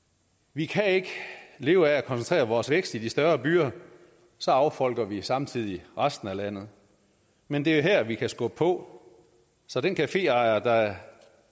vi kan ikke leve af at koncentrere vores vækst i de større byer så affolker vi samtidig resten af landet men det er her vi kan skubbe på så den caféejer der